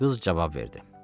Qız cavab verdi.